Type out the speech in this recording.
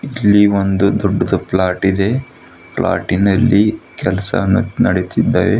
ಇಲ್ಲಿ ಒಂದು ದೊಡ್ಡದು ಪ್ಲಾಟ್ ಇದೆ ಪ್ಲಾಟಿನಲ್ಲಿ ಕೆಲಸ ನ ನಡೀತಿದ್ದೆ.